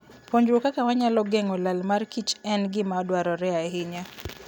Puonjruok kaka wanyalo geng'o lal mar kichen gima dwarore ahinya.